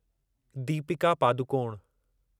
Deepika Padukone